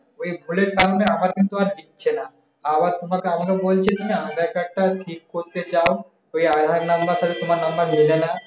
ওই ভুলের কারণে আমার কিন্তু আর দিচ্ছে না। আবার তোমাকে আবার ও বলছে কিনা আধার-কার্ডটা ঠিক করতে চাউ ওই আধার number এর সাথে তোমার number মিলে না।